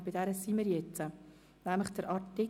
Und dort sind wir jetzt angelangt.